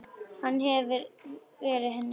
Hann hefur verið henni góður.